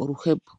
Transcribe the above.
oluhepo.